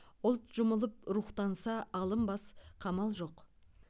ұлт жұмылып рухтанса алынбас қамал жоқ